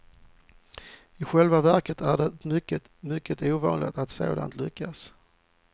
I själva verket är det mycket, mycket ovanligt att sånt lyckas.